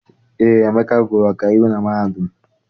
Eé, Emeka gụrụ ọkaiwu na mahadum